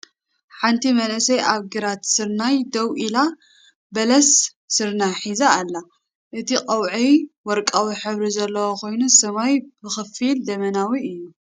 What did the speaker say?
ሓንቲ መንእሰይ ኣብ ግራት ስርናይ ደው ኢላ፡ በሰለ ስርናይ ሒዛ ኣላ። እቲ ቀውዒ ወርቃዊ ሕብሪ ዘለዎ ኮይኑ ሰማይ ብኸፊል ደበናዊ እዩ።